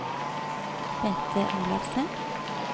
Bente Olafsen